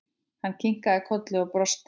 Hann kinkaði kolli og brosti.